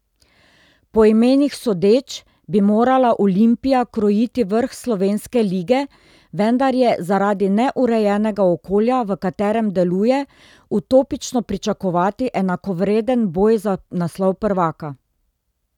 Po imenih sodeč bi morala Olimpija krojiti vrh slovenske lige, vendar je zaradi neurejenega okolja, v katerem deluje, utopično pričakovati enakovreden boj za naslov prvaka.